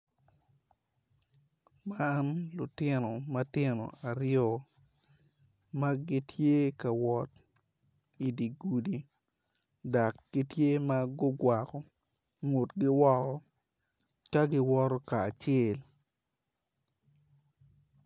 Man lutino matino aryo ma gitye ka wot idi gudi dok gitye ma gukwako ngutgi woko ka giwoto kacel.